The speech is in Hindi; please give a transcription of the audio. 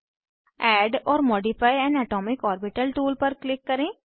add or modify an atomic orbital tool पर क्लिक करें